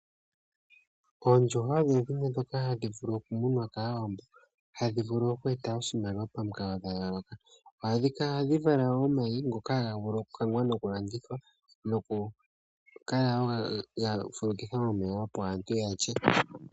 Oondjuhwa odho dhimwe dhoka hadhi vulu okumunwa kAawambo, hadhi vulu oku eta oshimaliwa pamukalo dha yooloka. Ohadhi vala omayi ngoka haga vulu okukangwa nokundithwa, nokukala wo ga fulukithwa momeya opo aantu yalye.